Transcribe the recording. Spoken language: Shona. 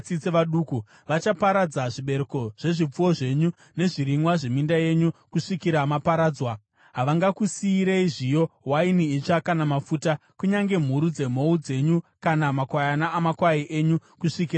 Vachaparadza zvibereko zvezvipfuwo zvenyu nezvirimwa zveminda yenyu kusvikira maparadzwa. Havangakusiyirei zviyo, waini itsva kana mafuta, kunyange mhuru dzemhou dzenyu kana makwayana amakwai enyu kusvikira maparadzwa.